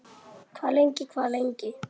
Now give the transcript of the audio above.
Hvað lengi, hvað lengi?